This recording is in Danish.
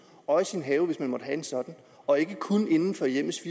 og i sin have hvis man måtte have en sådan og ikke kun inden for hjemmets